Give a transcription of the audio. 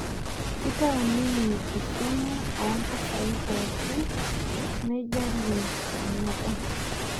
Kitau ninye esiana ompisai pookin meijalie enaba